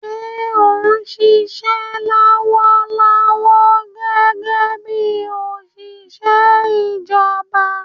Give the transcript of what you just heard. Ṣé o ń ṣiṣẹ́ lọ́wọ́lọ́wọ́ gẹ́gẹ́ bí òṣìṣẹ́ ìjọba?